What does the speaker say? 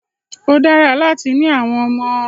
Ó dára láti ni àwọn ọmọ.